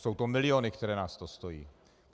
Jsou to miliony, které nás to stojí.